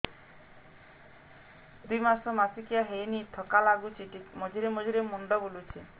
ଦୁଇ ମାସ ମାସିକିଆ ହେଇନି ଥକା ଲାଗୁଚି ମଝିରେ ମଝିରେ ମୁଣ୍ଡ ବୁଲୁଛି